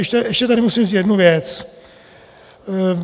Ještě tady musím říct jednu věc.